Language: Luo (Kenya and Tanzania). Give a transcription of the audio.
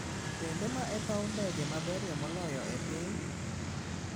Bende ma e paw ndege maberie moloyo e piny?